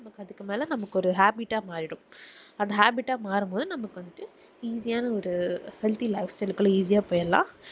நமக்கு அதுக்கு மேல நமக்கு ஒரு habbit ஆஹ் மாறிடும் அந்த habbit ஆஹ் மாறும்போதுநமக்கு வந்துட்டு easy யான ஒரு healthy life style குள்ள போய்ரல்லாம்